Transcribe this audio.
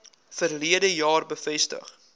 verlede jaar bevestig